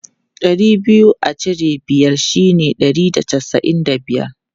Ɗari biyu a cire biyar shine ɗari da casa'in da biyar.